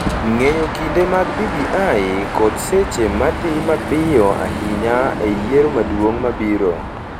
Ng’eyo kinde mag BBI kod seche ma dhi mapiyo ahinya e yiero maduong’ mabiro